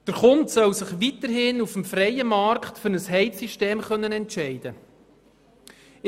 Der Kunde soll sich weiterhin auf dem freien Markt für ein Heizsystem entscheiden können.